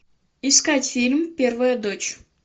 искать фильм первая дочь